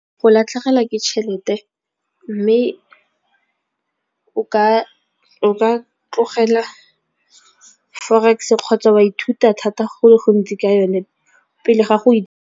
Go latlhegelwa ke tšhelete, mme o ka tlogela forex kgotsa wa ithuta thata go le gontsi ka yone pele ga go .